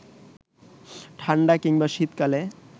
ঠাণ্ডা কিংবা শীতকালে